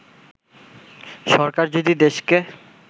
“সরকার যদি দেশকে